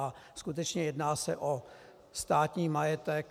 A skutečně jedná se o státní majetek.